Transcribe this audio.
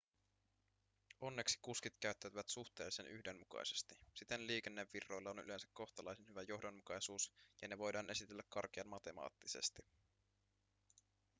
onneksi kuskit käyttäytyvät suhteellisen yhdenmukaisesti siten liikennevirroilla on yleensä kohtalaisen hyvä johdonmukaisuus ja ne voidaan esitellä karkean matemaattisesti